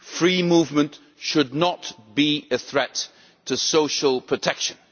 Free movement should not be a threat to social protection.